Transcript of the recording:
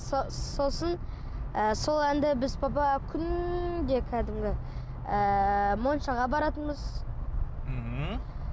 сосын ы сол әнді біз папа күнде кәдімгі ыыы моншаға баратынбыз мхм